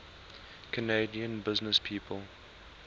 canadian businesspeople